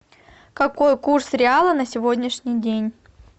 какой курс реала на сегодняшний день